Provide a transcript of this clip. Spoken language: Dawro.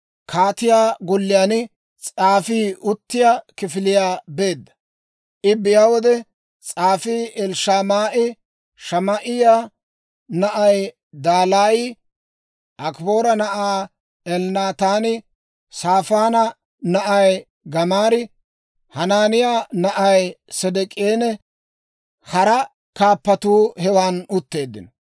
kaatiyaa golliyaan s'aafii uttiyaa kifiliyaa beedda. I biyaa wode, s'aafii Elishamaa'i, Shamaa'iyaa na'ay Dalaayi, Akiboora na'ay Elnaataani, Saafaana na'ay Gamaarii, Hanaaniyaa na'ay S'idik'eenne hara kaappatuu hewan utteeddino.